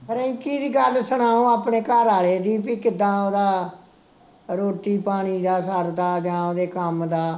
ਰਿੰਕੀ ਦੀ ਗੱਲ ਸੁਣਾਓ, ਆਪਣੇ ਘਰਆਲੇ ਦੀ, ਬਈ ਕਿੱਦਾਂ ਓਹਦਾ ਰੋਟੀ ਪਾਣੀ ਦਾ ਸਰਦਾ ਜਾਂ ਓਹਦੇ ਕੰਮ ਦਾ